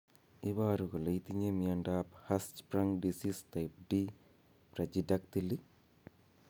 Iporu ne kole itinye miondap Hirschsprung disease type d brachydactyly?